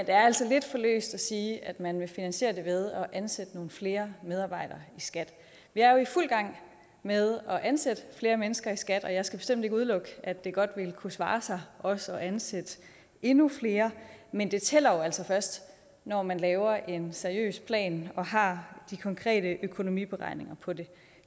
er altså lidt for løst at sige at man vil finansiere det ved at ansætte nogle flere medarbejdere i skat vi er jo i fuld gang med at ansætte flere mennesker i skat og jeg skal bestemt ikke udelukke at det godt ville kunne svare sig også at ansætte endnu flere men det tæller jo altså først når man laver en seriøs plan og har de konkrete økonomiberegninger på det